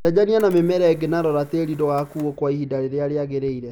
Cenjania na mĩmera ĩngĩ na rora tĩĩri ndo gakuo kwa ihinda rĩrĩa rĩagĩrĩire.